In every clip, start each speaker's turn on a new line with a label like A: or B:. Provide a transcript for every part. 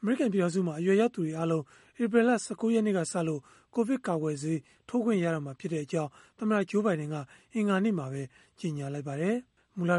A: အမေရိကန် ပြည်ထောင်စုမှာ အရွယ်ရောက်သူတွေအားလုံး ဧပြီလ ၁၉ ရက်နေ့ကစလို့ ကိုဗစ်ကာကွယ်ဆေးထိုးခွင့် ရတော့မှာဖြစ်ကြောင်း သမ္မတ Joe Biden က အင်္ဂါနေ့မှာပဲ ကြေညာလိုက်ပါတယ်။ မူလက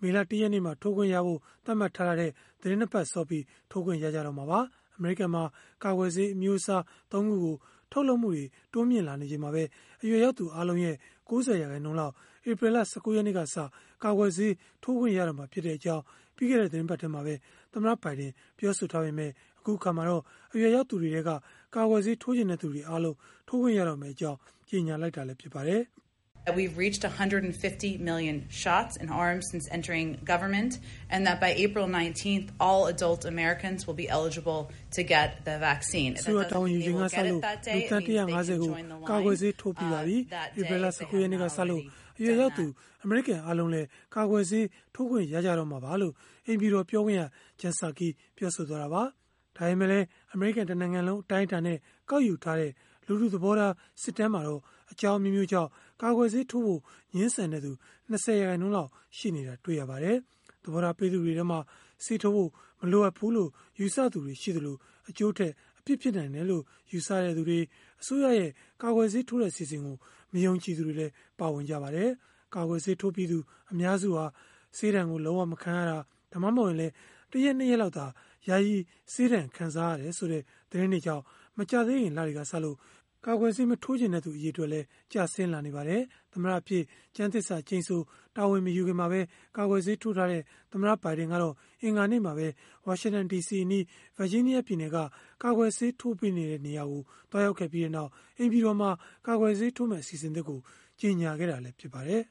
A: မေလ ၁ ရက်နေ့မှာ ထိုးခွင့်ရဖို့ သတ်မှတ်ထားတာထက် သီတင်း ၂ ပတ်စောပြီး ထိုးခွင့်ရကြတော့မှာပါ။ အမေရိကန်မှာ ကာကွယ်ဆေး အမျိုးအစား ၃ ခုကို ထုတ်လုပ်မှုတွေ တိုးလာနေချိန်မှာပဲ အရွယ်ရောက်သူ အားလုံးရဲ့ ၉၀ ရာခိုင်နှုန်းလောက် ဧပြီလ ၁၉ ရက်နေ့ကစ ကာကွယ်ဆေးထိုးခွင့် ရတော့မှာဖြစ်ကြောင်း ပြီးခဲ့တဲ့ သီတင်းပတ်ထဲမှာပဲ သမ္မတ ဘိုင်ဒင် ပြောဆိုထားပေမဲ့ အခုအခါမှာတော့ အရွယ်ရောက်သူတွေထဲက ကာကွယ်ဆေးထိုးချင်တဲ့သူတွေအားလုံး ထိုးခွင့်ရ
B: မယ့်အကြောင်း ကြေညာလိုက်တာ ဖြစ်ပါတယ်။ “အစိုးရတာဝန် ယူချိန်ကစလို့ လူသန်း ၁၅၀ ကို
A: ကာကွယ်ဆေး ထိုးပေးပြီးပါပြီ။ ဧပြီလ ၁၉ ရက်နေ့ကစလို့ အရွယ်ရောက်သူ အမေရိကန်အားလုံးလည်း ကာကွယ်ဆေးထိုးခွင့် ရတော့မှာပါ။” လို့ အိမ်ဖြူတော်ပြောခွင့်ရ Jen Psaki ပြောဆိုသွားတာပါ။ ဒါပေမဲ့လည်း အမေရိကန် တနိုင်ငံလုံး အတိုင်းအတာနဲ့ ကောက်ယူထားတဲ့ လူထုသဘောထား စစ်တမ်းမှာတော့ အကြောင်းအမျိုးမျိုးကြောင့် ကာကွယ်ဆေးထိုးဖို့ ငြင်းဆန်တဲ့သူ ၂၀ ရာခိုင်နှုန်းလောက် ရှိနေတာ တွေ့ရပါတယ်။ သဘောထား ပေးသူတွေထဲမှာတော့ ဆေးထိုးဖို့ မလိုအပ်ဘူးလို့ ယူဆသူတွေ ရှိသလို၊ အကျိုးထက် အပြစ်ဖြစ်နိုင်တယ်လို့ ယူဆသူတွေ၊ အစိုးရရဲ့ ကာကွယ်ဆေးထိုးတဲ့ အစီအစဉ်ကို မယုံကြည်သူတွေလည်း ပါဝင်ကြပါတယ်။ ကာကွယ်ဆေးထိုးပြီးသူ အများစုဟာ ဆေးဒဏ်လုံး၀ မခံရတာ၊ ဒါမှမဟုတ်ရင်လည်း ၁ ရက် ၂ ရက်လောက်သာ ယာယီဆေးဒဏ်ခံစားရတယ်ဆိုတဲ့ သတင်းတွေကြောင့် မကြာသေးခင်လတွေကစလို့ ကာကွယ်ဆေး မထိုးချင်တဲ့သူ အရေအတွက် ကျဆင်းလာနေပါတယ်။ သမ္မတအဖြစ် ကျမ်းသစ္စာကျိန်ဆို တာဝန်မယူခင်မှာပဲ ကာကွယ်ဆေးထိုးထားတဲ့ သမ္မတ ဘိုင်ဒင်ကတော့ အင်္ဂါနေ့မှာပဲ ဝါရှင်တန်ဒီစီအနီး ဗာဂျီးနီးယားပြည်နယ်က ကာကွယ်ဆေးထိုးပေးနေတဲ့ နေရာကို သွားရောက်ခဲ့ပြီးနောက် အိမ်ဖြူတော်မှာ ကာကွယ်ဆေးထိုးမယ့် အစီအစဉ်သစ်ကို ကြေညာခဲ့တာ ဖြစ်ပါတယ်။